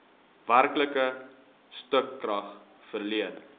werklike stukrag verleen